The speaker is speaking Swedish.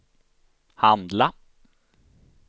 handla